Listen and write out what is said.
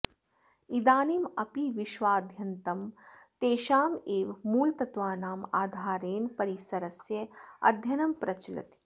इदानीम् अपि विश्वाद्यन्तं तेषाम् एव मूलतत्त्वानाम् आधारेण परिसरस्य अध्ययनं प्रचलति